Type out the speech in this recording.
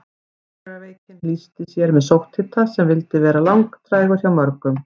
Akureyrarveikin lýsti sér með sótthita sem vildi vera langdrægur hjá mörgum.